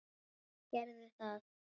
Hverjir gerðu hvað?